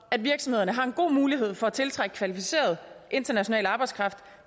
at virksomhederne har en god mulighed for at tiltrække kvalificeret international arbejdskraft